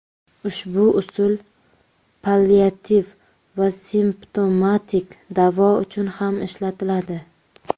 Ushbu usul palliativ va simptomatik davo uchun ham ishlatiladi.